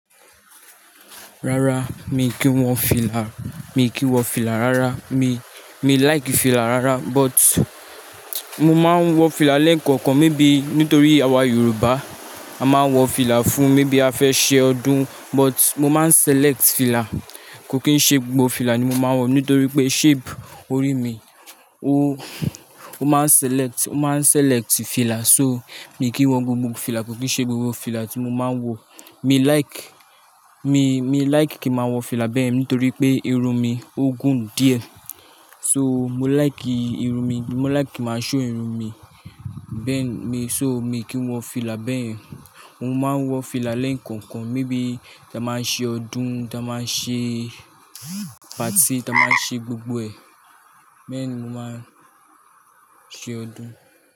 Rárá, mi kì n wọ fìlà, mi kì n wọ fìlà rárá. Mi, mi like fìlà rárá but mo máa ń wọ fìlà lẹ́ẹ̀kọ̀kan. Maybe nítorí àwa Yorùbá a máa ń wọ fìlà fún maybe a fẹ́ ṣe ọdún. But mo máa ń select fìlà. Kò kín ṣe gbogbo fìlà ni mo máa ń wọ, nítorí pé shape orí mi, ó, ó máa ń select, ó máa ń select fìlà. So mi kì í wọ gbogbo fìlà, kò kín ṣe gbogbo fìlà tí mo máa ń wọ. Mi like, mi, mi like kí ma wọ fìlà bẹ́ẹ̀ nítorí pé irun mi ó gùn díẹ̀. So mo like ìrùn mi, mo like ki n máa show irun mi. Bẹ́ẹ̀ ni, so mi kì í n wọ fìlà bẹ́yen Mo máa ń wọ fìlà lẹ́ẹ̀kọ̀kan, maybe ta báa ń ṣe ọdún, ti a báa ń ṣe party, ti a báa ń ṣe gbogbo ẹ̀. Bẹ́ẹ̀ ni mo máa ń ṣe ọdún.